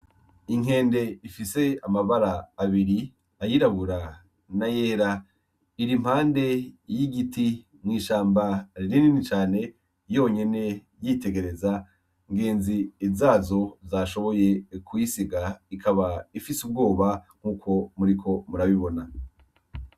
Inkende ifise amabara abiri, ayirabura n'ayera, iri impande y'igiti mw'ishamba rinini cane yonyene yitegereza ingenzi zazo zashoboye kuyisiga ikaba ifise ubwoba nkuko muriko murabibona.